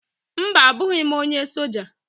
mba, abụghị m onye soja